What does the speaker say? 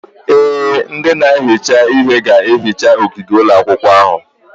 Ee, ndị na-ehicha ihe ga-ehicha ogige ụlọ akwụkwọ ahụ.